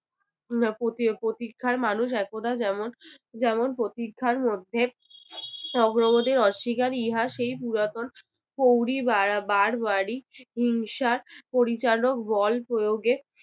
এর পতি~ প্রতীক্ষার মানুষ একদা যেমন প্রতীক্ষার মধ্যে অগ্রগতির অস্বীকার ইহা সেই পুরাতন বারা~ বার বাড়ি হিংসার পরিচালক বল প্রয়োগে